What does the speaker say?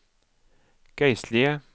geistlige